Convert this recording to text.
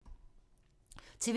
TV 2